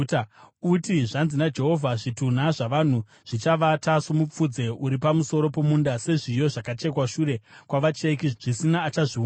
Uti, “Zvanzi naJehovha: “ ‘Zvitunha zvavanhu zvichavata somupfudze uri pamusoro pomunda, sezviyo zvakachekwa shure kwavacheki, zvisina achazviunganidza.’ ”